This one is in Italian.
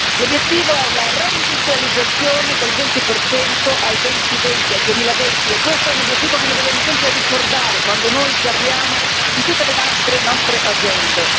L'obiettivo è la reindustrializzazione del 20 al 2020 e questo è un obiettivo che noi dobbiamo sempre ricordare quando noi parliamo di tutte le nostre agende.